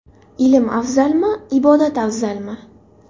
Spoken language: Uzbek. Ilm afzalmi, ibodat afzalmi?